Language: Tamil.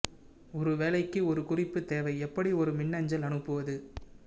ஒரு வேலைக்கு ஒரு குறிப்பு தேவை எப்படி ஒரு மின்னஞ்சல் அனுப்புவது